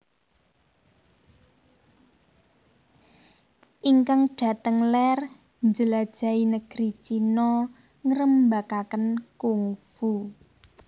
Ingkang dhateng ler njelajahi negeri China ngrembakaken kungfu